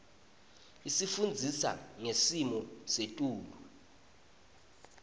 isifundisa ngesimo setulu